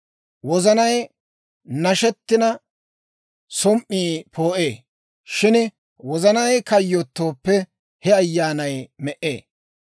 Wozanay nashetina, som"ii poo'ee; shin wozanay kayyotooppe, he ayaanay me"ee.